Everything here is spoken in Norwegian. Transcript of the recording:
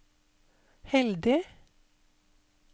heldig